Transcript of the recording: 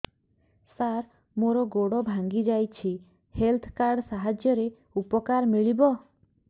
ସାର ମୋର ଗୋଡ଼ ଭାଙ୍ଗି ଯାଇଛି ହେଲ୍ଥ କାର୍ଡ ସାହାଯ୍ୟରେ ଉପକାର ମିଳିବ